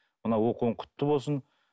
мына оқуың құтты болсын